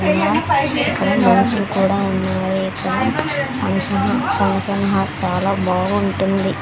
ఇక్కడ మనుషులు కూడా ఉన్నారు ఇక్కడ ఫంక్షన్ ఫంక్షన్ హాల్ చాలా బాగుంటుంది.